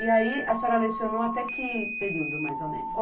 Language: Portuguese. E aí, a senhora lecionou até que período, mais ou menos?